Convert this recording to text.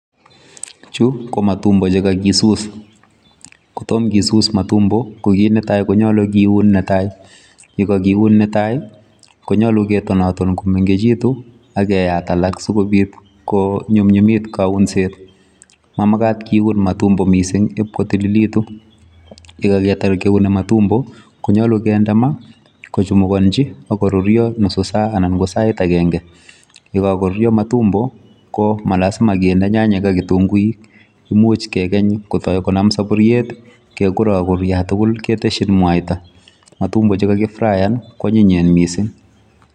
Chu ko matumbo[c] chekakisus, ko tom kisus matumbo ko kit netai konyolu kiun netai. Yekakiun netai konyolu ketonoton komengechitu akeyat alak sikobit konyumnyumit kaunset. Mamakat kiun matumbo mising ipkotililitu. Yekaketar kiuni matumbo konyolu kende na kochumukonchi akoruryo nusu saa anan ko sait akenke. Yekakoruryo matumbo ko ma lasima kende nyanyek ak kitunguik, imuch kekeny kotoi konam saburyet kekurokur yatukul keteshin mwaita. Matumbo chekakifrayan kwonyinyen mising.